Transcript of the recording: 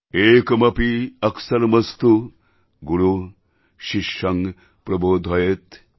একমপি অক্সরমস্তু গুরুঃ শিষ্যং প্রবোধয়েত্